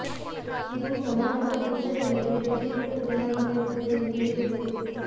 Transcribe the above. ಇದು ಸಮಾಜದ ಪುರುಷರ ಮೇಲೆ ವ್ಯತಿರಿಕ್ತ ಪರಿಣಾಮ ಬೀರುತ್ತದೆ ಎಂದು ಹೇಳಿದರು